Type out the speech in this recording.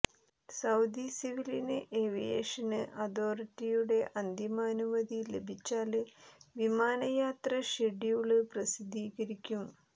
Saudi civil aviation അതോറിറ്റിയുടെ അന്തിമ അനുമതി ലഭിച്ചാല് വിമാന യാത്ര ഷെഡ്യൂള് പ്രസിദ്ധീകരിക്കും